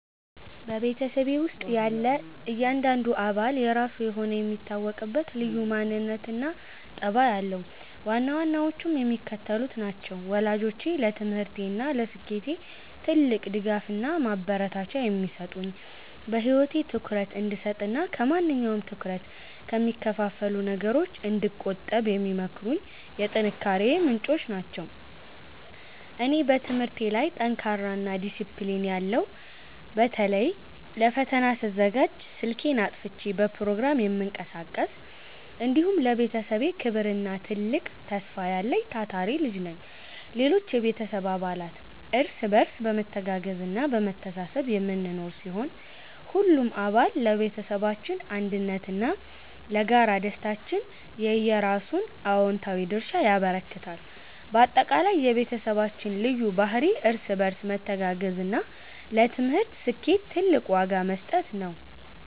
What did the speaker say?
በቤተሰቤ ውስጥ ያለ እያንዳንዱ አባል የራሱ የሆነ የሚታወቅበት ልዩ ማንነትና ጠባይ አለው፤ ዋና ዋናዎቹም የሚከተሉት ናቸው፦ ወላጆቼ፦ ለትምህርቴና ለስኬቴ ትልቅ ድጋፍና ማበረታቻ የሚሰጡኝ፣ በህይወቴ ትኩረት እንድሰጥና ከማንኛውም ትኩረት ከሚከፋፍሉ ነገሮች እንድቆጠብ የሚመክሩኝ የጥንካሬዬ ምንጮች ናቸው። እኔ፦ በትምህርቴ ላይ ጠንካራና ዲሲፕሊን ያለው (በተለይ ለፈተና ስዘጋጅ ስልኬን አጥፍቼ በፕሮግራም የምቀሳቀስ)፣ እንዲሁም ለቤተሰቤ ክብርና ትልቅ ተስፋ ያለኝ ታታሪ ልጅ ነኝ። ሌሎች የቤተሰብ አባላት፦ እርስ በርስ በመተጋገዝና በመተሳሰብ የምንኖር ሲሆን፣ ሁሉም አባል ለቤተሰባችን አንድነትና ለጋራ ደስታችን የየራሱን አዎንታዊ ድርሻ ያበረክታል። ባጠቃላይ፣ የቤተሰባችን ልዩ ባህሪ እርስ በርስ መተጋገዝና ለትምህርት ስኬት ትልቅ ዋጋ መስጠት ነው።